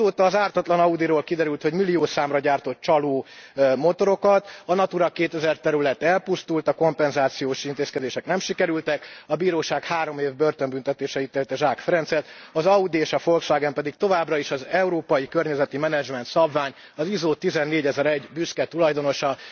Azóta az ártatlan Audiról kiderült, hogy milliószámra gyártott csaló motorokat, a Natura 2000 terület elpusztult, a kompenzációs intézkedések nem sikerültek, a bíróság három év börtönbüntetésre ítélte Zsák Ferencet, az Audi és a Volkswagen pedig továbbra is az európai környezeti menedzsment szabvány, az ISO 14001 büszke tulajdonosa.